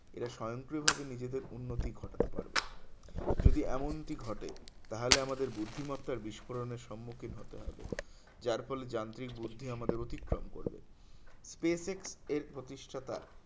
এরা স্বয়ংক্রিয়ভাবে নিজেদের উন্নতি ঘটাতে পারবে যদি এমনটি ঘটে তাহলে আমাদের বুদ্ধিমত্তার বিস্ফোরণের সম্মুখীন হতে হবে যার ফলে যান্ত্রিক বুদ্ধি আমাদের অতিক্রম করবে space x এর প্রতিষ্ঠাতা